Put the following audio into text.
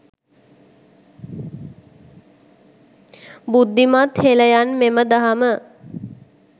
බුද්ධිමත් හෙලයන් මෙම දහම